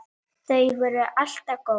Já, ólíkt hafast menn að.